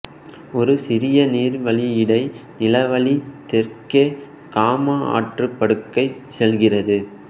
ஒரு சிறிய நீர்வழியிடை நிலவழி தெற்கே காமா ஆற்றுப் படுகைக்குச் செல்கிறது